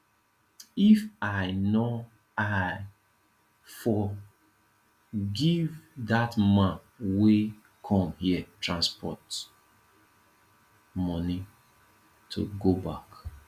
if i no i for give dat man wey come here transport money to go back